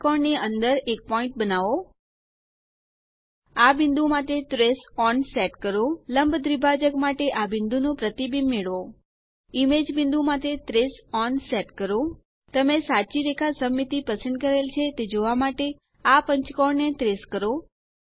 પંચકોણ ની અંદર એક પોઈન્ટ બનાવો આ બિંદુ માટે ટ્રેસ ઓન સેટ કરો લંબ દ્વિભાજક માટે આ બિંદુ નું પ્રતિબિંબ મેળવો ઈમેજ બિંદુ માટે ટ્રેસ ઓન સેટ કરો તમે સાચી રેખા સમમિતિ પસંદ કરેલ છે તે જોવા માટે આ પંચકોણ ને ટ્રેસ કરો